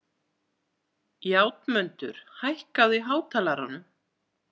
Játmundur, hækkaðu í hátalaranum.